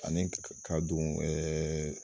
Ani ka don ɛɛ